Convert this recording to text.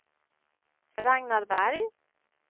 Ragnar Berg